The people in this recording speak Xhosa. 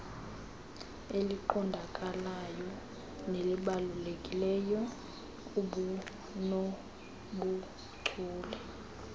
eliqondakalayo nelibalulekileyo obunobuchule